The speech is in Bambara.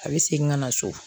A bɛ segin ka na so